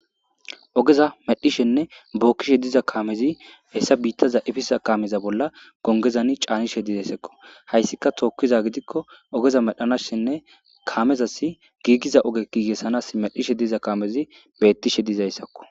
Ogeza medhishenne bokishe diza kamezi hesa bitaza epiza kame bollan bitaza gongezani c,anishe dizayisako hayisika tokiza gidiko ogeza medhanashine kamezas gigiza ogeza medhishe dizayisako